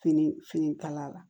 Fini fini kala